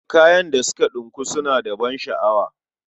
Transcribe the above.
Kayan da suka ɗinku suna da ban sha'awa.